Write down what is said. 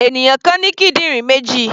Ènìyàn kan ní kídìrín méjì.